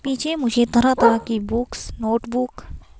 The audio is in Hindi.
पीछे मुझे तरह-तरह की बुक्स नोटबुक। --